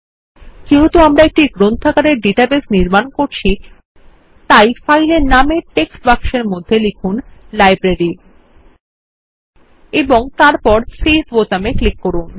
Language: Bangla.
যেহেতু আমরা একটি গ্রন্থাগারের ডাটাবেস নির্মাণ করছি তাই ফাইল এর নামের টেক্সট বাক্সের মধ্যে লিখুন লাইব্রেরি এবং তারপর সেভ বোতামে ক্লিক করুন